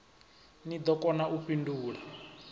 ni ḓo kona u fhindula